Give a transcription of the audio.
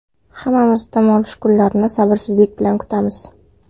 Hammamiz dam olish kunlarini sabrsizlik bilan kutamiz.